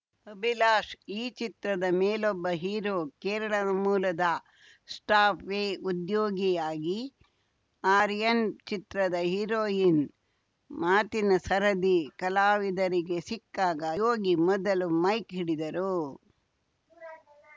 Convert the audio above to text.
ಅಭಿಲಾಷ್‌ ಈ ಚಿತ್ರದ ಮೇಲೊಬ್ಬ ಹೀರೋ ಕೇರಳ ಮೂಲದ ಸ್ಟಾಫ್ ವೀ ಉದ್ಯೋಗಿಯಾಗಿ ಆರ್ಯಾನ್‌ ಚಿತ್ರದ ಹೀರೋಯಿನ್‌ ಮಾತಿನ ಸರದಿ ಕಲಾವಿದರಿಗೆ ಸಿಕ್ಕಾಗ ಯೋಗಿ ಮೊದಲು ಮೈಕ್‌ ಹಿಡಿದರು